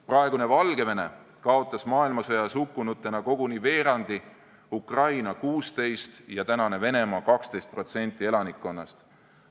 Praegune Valgevene kaotas maailmasõjas hukkunutena koguni veerandi, Ukraina 16% ja tänane Venemaa 12% elanikkonnast.